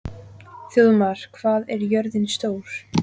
Þjóðmar, hvað er jörðin stór?